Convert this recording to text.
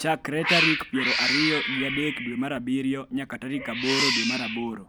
chakre tarik piero ariyo gi adek dwe mar abiriyo nyaka tarik aboro dwe mar aboro.